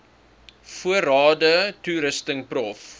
voorrade toerusting prof